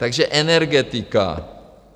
Takže energetika.